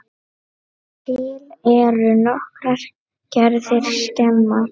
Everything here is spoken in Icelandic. Til eru nokkrar gerðir skema.